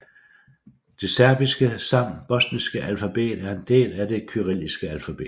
Det serbiske samt bosniske alfabet er en del af det kyrilliske alfabet